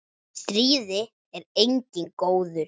Í stríði er enginn góður.